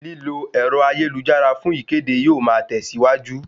Lílo ẹ̀rọ ayélujára fún ìkéde yóò ma tẹ̀síwájú